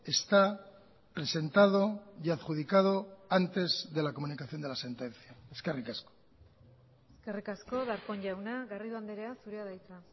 está presentado y adjudicado antes de la comunicación de la sentencia eskerrik asko eskerrik asko darpón jauna garrido andrea zurea da hitza